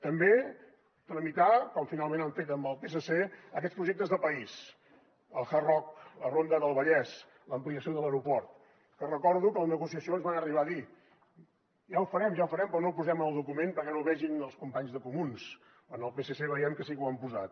també tramitar com finalment han fet amb el psc aquests projectes de país el hard rock la ronda del vallès l’ampliació de l’aeroport que recordo que a la negociació ens van arribar a dir ja ho farem ja ho farem però no ho posem en el document perquè no ho vegin els companys de comuns amb el psc veiem que sí que l’hi han posat